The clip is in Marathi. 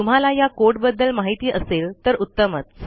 तुम्हाला या कोड बद्दल माहिती असेल तर उत्तमच